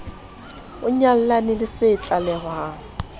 o nyallane le se tlalehwang